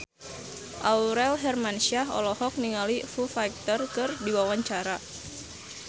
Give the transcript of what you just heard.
Aurel Hermansyah olohok ningali Foo Fighter keur diwawancara